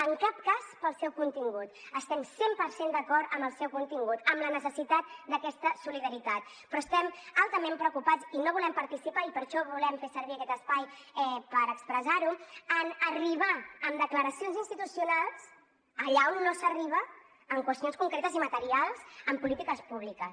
en cap cas pel seu contingut estem cent per cent d’acord amb el seu contingut amb la necessitat d’aquesta solidaritat però estem altament preocupats i no volem participar i per això volem fer servir aquest espai per expressar ho en arribar amb declaracions institucionals allà on no s’arriba en qüestions concretes i materials amb polítiques públiques